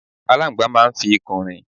Aláńgbàá máa ń fi ikùn rìn.